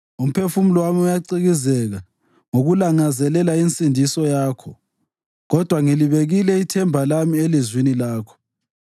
Umphefumulo wami uyacikizeka ngokulangazelela insindiso yakho, kodwa ngilibekile ithemba lami elizwini lakho.